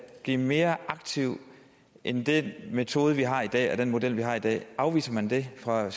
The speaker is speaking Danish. blive mere aktiv end den metode vi har i dag og den model vi har i dag afviser man det fra